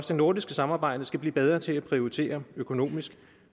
det nordiske samarbejde skal blive bedre til at prioritere økonomisk